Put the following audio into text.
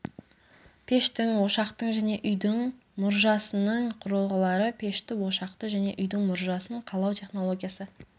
пештің ошақтың және үйдің мұржасының құрылғылары пешті ошақты және үйдің мұржасын қалау технологиясы